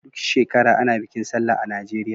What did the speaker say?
Duk shekara ana bikin sallah a Najeriya.